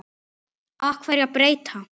Af hverju að breyta?